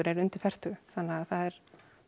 eru undir fertugu þannig að það er